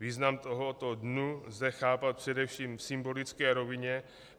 Význam tohoto dne lze chápat především v symbolické rovině.